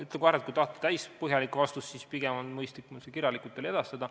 Ütlen kohe ära, et kui te tahate täispõhjalikku vastust, siis pigem on mõistlik mul see kirjalikult teile edastada.